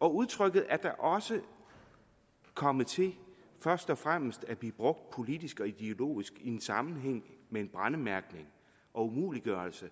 og udtrykket er da også kommet til først og fremmest at blive brugt politisk og ideologisk i en sammenhæng med en brændemærkning og umuliggørelse